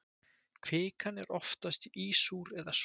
Kvikan er oftast ísúr eða súr.